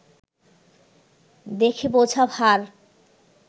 দেখে বোঝা ভার